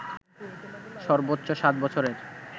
সর্বোচ্চ সাত বছরের